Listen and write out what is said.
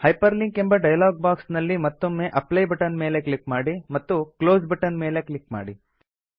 hyperlink ಎಂಬ dialog box ನಲ್ಲಿ ಮತ್ತೊಮ್ಮೆ ಅಪ್ಲೈ ಬಟನ್ ನ ಮೇಲೆ ಕ್ಲಿಕ್ ಮಾಡಿ ಮತ್ತು ಕ್ಲೋಸ್ ಬಟನ್ ನ ಮೇಲೆ ಕ್ಲಿಕ್ ಮಾಡಿ